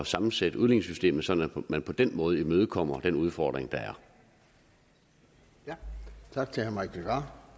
sammensætte udligningssystemet på sådan at man på den måde imødekommer den udfordring der